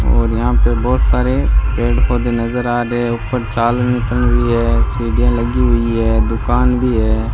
और यहां पे बहोत सारे पेड़ पौधे नज़र आ रहे है ऊपर चाल सीढ़ियां लगी हुई है दुकान भी है।